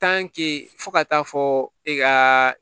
fo ka taa fɔ e ka